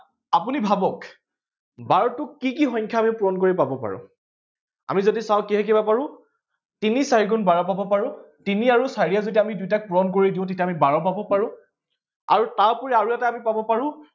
আপুনি ভাৱক বাৰটোক কি কি সংখ্যা আমি পূৰণ কৰি পাব পাৰো। আমি যদি চাওঁ কি দেখিব পাৰো তিনি চাৰি গুণ বাৰ পাব পাৰো তিনি আৰু চাৰিয়ে যদি আমি দুইটাক পূৰণ কৰি দিও তেতিয়া আমি বাৰ পাব পাৰো আৰু তাৰ ওপৰি আৰু এটা পাব পাৰো